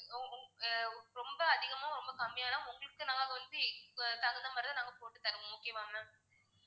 ஆஹ் ரொம்ப அதிகமும் ரொம்ப கம்மியா தான் உங்களுக்கு நாங்க வந்து இப்போ தகுந்த மாதிரி தான் நாங்க போட்டு தருவோம் okay வா ma'am